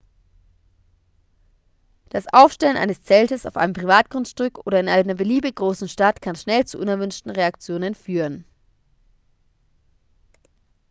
das aufstellen eines zeltes auf einem privatgrundstück oder in einer beliebig großen stadt kann schnell zu unerwünschten reaktionen führen